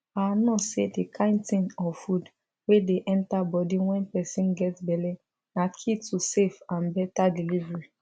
our nurse say the kind thing or food wey dey enter body wen person get belle na key to safe and better delivery